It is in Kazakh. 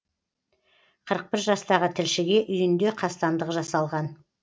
қырық бір жастағы тілшіге үйінде қастандық жасалған